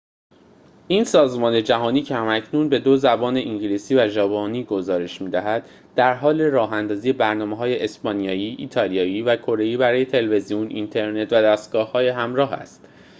این سازمان جهانی که هم‌اکنون به دو زبان انگلیسی و ژاپنی گزارش می‌دهد درحال راه‌اندازی برنامه‌های اسپانیایی ایالیایی و کره‌ای برای تلویزیون اینترنت و دستگاه‌های همراه است